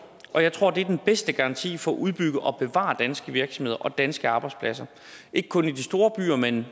og jeg tror at det er den bedste garanti for at udbygge og bevare danske virksomheder og danske arbejdspladser ikke kun i de store byer men